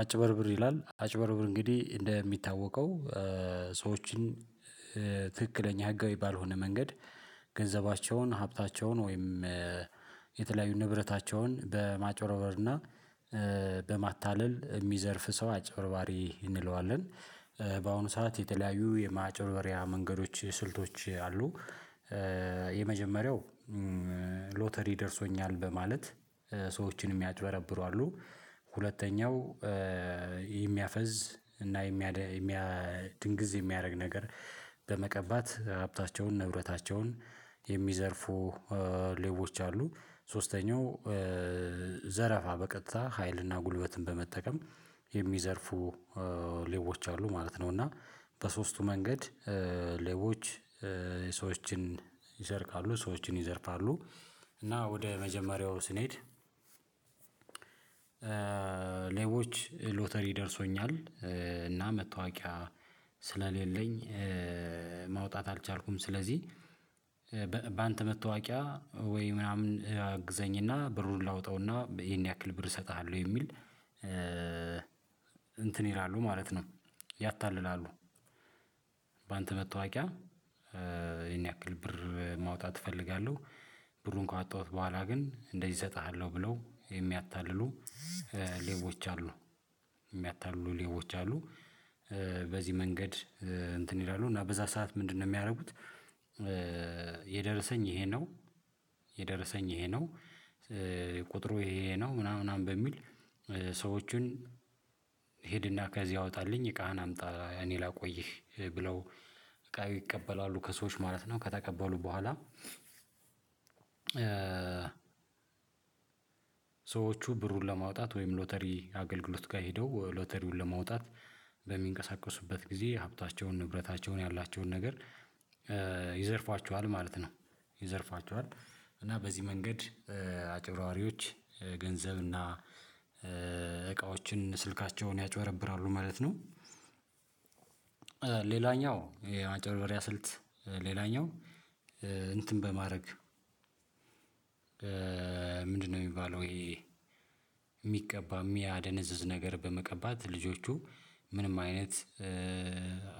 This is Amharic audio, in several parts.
አጭበርብር ይላል አጭበርብር እንግዲህ እንደሚታወቀው ሰዎችን ትክክለኛ ህጋዊ ባልሆነ መንገድ ገንዘባቸውን ሀብታቸውን ወይም የተለያዩ ንብረታቸውን በማጭበርበርና በማታለል የሚዘርፍ ሰው አጭበርባሪ እንለዋለን። በአሁኑ ሰዓት የተለያዩ የማጭበሪያ መንገዶች ስልቶች አሉ። የመጀመሪያው ሎተሪ ደርሶኛል በማለት ሰዎችን የሚያጭበረብሩ አሉ። ሁለተኛው የሚያፈዝ እና የሚያድግዝ የሚያደርግ ነገር በመቀባት ሀብታቸውን ንብረታቸውን የሚዘርፉ ሌቦች አሉ። ሶስተኛው ዘረፋ በቀጥታ ሀይልና ጉልበትን በመጠቀም የሚዘርፉ ሌቦች አሉ ማለት ነው። እና በሶስቱ መንገድ ሌቦች ሰዎችን ይሰርቃሉ ሰዎችን ይዘርፋሉ እና ወደ መጀመሪያው ስንሄድ። ሌቦች ሎተሪ ደርሶኛል እና መታወቂያ ስለሌለኝ ማውጣት አልቻልኩም ስለዚህ በአንተ መታወቂያ ወይ ምናምን አግዘኝና ብሩን ላውጠውና ይሄን ያክል ብር እሰጥሃለሁ የሚል እንትን ይላሉ ማለት ነው። ያታልላሉ። በአንተ መታወቂያ ይሄን ያክል ብር ማውጣት እፈልጋለሁ። ብሩ ካወጣሁት በኋላ ግን እንደዚህ እሰጥሃለሁ ብለው የሚያታልሉ ሌቦች አሉ። ሚያታልሉ ሌቦች አሉ። በዚህ መንገድ እንትን ይላሉ እና በዛ ሰዓት ምንድነው የሚያደርጉት? የደረሰኝ ይሄ ነው። የደረሰኝ ይሄ ነው። ቁጥሩ ይሄ ነው ምናምን ምናምን በሚል ሰዎችን ሂድና ከዚህ አወጣልኝ እቃህን አምጣ እኔ ላቆይህ ብለው እቃ ይቀበላሉ ከሰዎች ማለት ነው። ከተቀበሉ በኋላ ሰዎቹ ብሩን ለማውጣት ወይም ሎተሪ አገልግሎትጋ ሄደው ሎተሪውን ለመውጣት በሚንቀሳቀሱበት ጊዜ ሀብታቸውን ንብረታቸውን ያላቸውን ነገር ይዘርፋችኋል ማለት ነው። ይዘርፋችኋል እና በዚህ መንገድ አጭብራዋሪዎች ገንዘብና እቃዎችን ስልካቸውን ያጭበረብራሉ ማለት ነው። ሌላኛው የማንጨበርበሪያ ስልት ሌላኛው እንትን በማድረግ ምንድነው? የሚባለው ይሄ የሚቀባ የሚያደነዝዝ ነገር በመቀባት ልጆቹ ምንም አይነት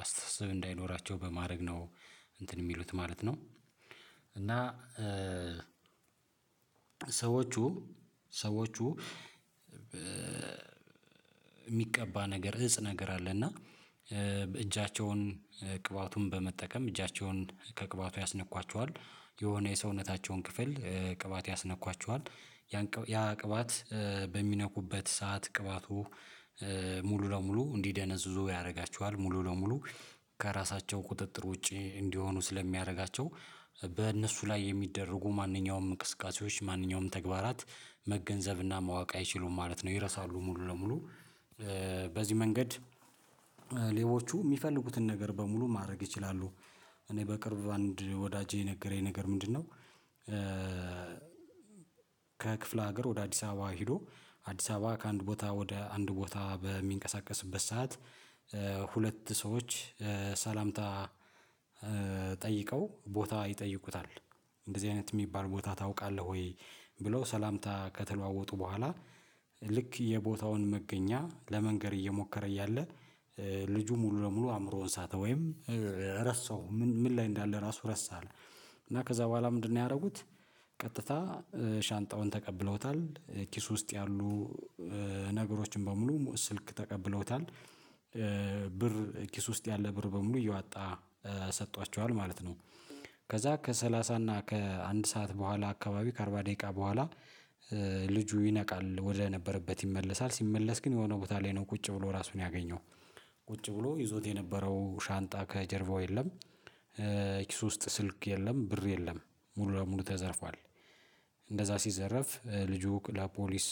አስተሳሰብ እንዳይኖራቸው በማድረግ ነው እንትን የሚሉት ማለት ነው። እና ሰዎቹ ሰዎቹ የሚቀባ ነገር እፅ ነገር አለ እና እጃቸውን ቅባቱን በመጠቀም እጃቸውን ከቅባቱ ያስነኳቸዋል የሆነ የሰውነታቸውን ክፍል ቅባት ያስነኳቸዋል። ያ ቅባት በሚነኩበት ሰዓት ቅባቱ ሙሉ ለሙሉ እንዲደነዝዙ ያደርጋቸዋል ሙሉ ለሙሉ ከራሳቸው ቁጥጥር ውጪ እንዲሆኑ ስለሚያደርጋቸው። በእነሱ ላይ የሚደረጉ ማንኛውም እንቅስቃሴዎች ማንኛውም ተግባራት መገንዘብና ማወቅ አይችሉም ማለት ነው። ይረሳሉ። ሙሉ ለሙሉ በዚህ መንገድ ሌቦቹ የሚፈልጉትን ነገር በሙሉ ማድረግ ይችላሉ። እኔ በቅርብ አንድ ወዳጄ የነገረኝ ነገር ምንድነው? ከክፍለ ሀገር ወደ አዲስ አበባ ሄዶ አዲስ አበባ ከአንድ ቦታ ወደ አንድ ቦታ በሚንቀሳቀስበት ሰዓት። ሁለት ሰዎች ሰላምታ ጠይቀው ቦታ ይጠይቁታል እንደዚህ አይነት የሚባል ቦታ ታውቃለህ ወይ? ብለው ሰላምታ ከተለዋወጡ በኋላ ልክ የቦታውን መገኛ ለመንገር እየሞከረ እያለ። ልጁ ሙሉ ለሙሉ አእምሮውን ሳተ ወይም ረሳው ምን ላይ እንዳለ ራሱ ረሳ አለ። እና ከዛ በኋላ ምንድነው ያደረጉት? ቀጥታ ሻንጣውን ተቀብለውታል ኪስ ውስጥ ያሉ ነገሮችን በሙሉ ስልክ ተቀብለውታል ብር ኪስ ውስጥ ያለ ብር በሙሉ እየዋጣ ሰጥቷቸዋል ማለት ነው። ከዛ ከሰላሳ እና ከአንድ ሰዓት በኋላ አካባቢ ከአርባ ደቂቃ በኋላ ልጁ ይነቃል ወደነበረበት ይመለሳል ሲመለስ ግን የሆነ ቦታ ላይ ነው ቁጭ ብሎ ራሱን ያገኘው። ቁጭ ብሎ ይዞት የነበረው ሻንጣ ከጀርባው የለም። ኪሱ ውስጥ ስልክ የለም ብር የለም። ሙሉ ለሙሉ ተዘርፏል። እንደዛ ሲዘረፍ ልጁ ላፖሊስ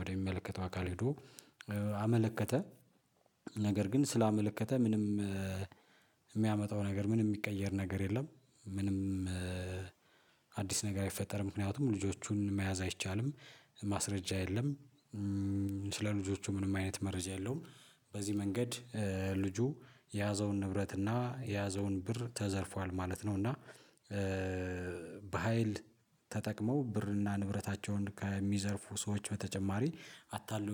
ወደሚመለከተው አካል ሄዶ አመለከተ። ነገር ግን ስላመለከተ ምንም የሚያመጣው ነገር ምንም የሚቀየር ነገር የለም። ምንም አዲስ ነገር አይፈጠርም። ምክንያቱም ልጆቹን መያዝ አይቻልም። ማስረጃ የለም። ስለ ልጆቹ ምንም አይነት መረጃ የለውም። በዚህ መንገድ ልጁ የያዘውን ንብረት እና የያዘውን ብር ተዘርፏል ማለት ነው። እና በሃይል ተጠቅመው ብርና ንብረታቸውን ከሚዘርፉ ሰዎች በተጨማሪ አታልሎ